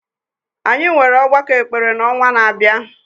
Anyị nwere ọgbakọ ekpere n’ọnwa na-abịa